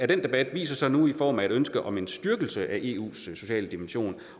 den debat viser sig nu i form af et ønske om en styrkelse af eus sociale dimension